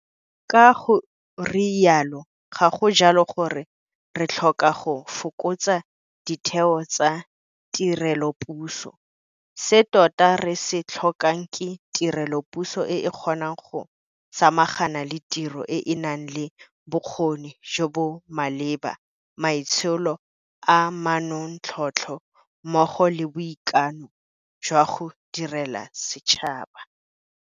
Ka go rialo, ga go jalo gore re tlhoka go fokotsa ditheo tsa tirelopuso, se tota re se tlhokang ke tirelopuso e e kgonang go samagana le tiro e e nang le bokgoni jo bo maleba, maitsholo a manontlhotlho mmogo le boikano jwa go direla setšhaba.